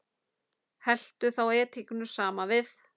Helltu þá edikinu saman við.